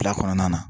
Fila kɔnɔna na